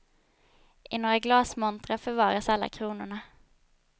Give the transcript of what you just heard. I några glasmontrar förvaras alla kronorna.